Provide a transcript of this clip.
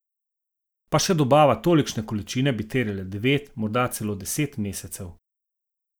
Pa še dobava tolikšne količine bi terjala devet, morda celo deset mesecev.